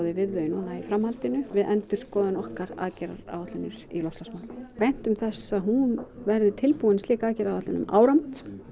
við þau núna í framhaldinu við endurskoðun okkar aðgerðaráætlunar í loftslagsmálum væntum þess að hún verði tilbúin slík aðgerðaáætlun um áramót